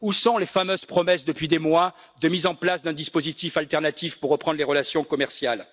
Où sont les fameuses promesses depuis des mois de mise en place d'un dispositif alternatif pour reprendre les relations commerciales?